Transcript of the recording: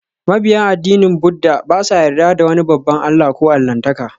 Mabiyan addinin Buddah ba sa yarda da wani babban allah ko allahntaka